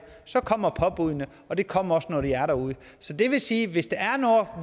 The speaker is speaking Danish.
så kommer påbuddene og de kommer også når de er derude så det vil sige at hvis der er noget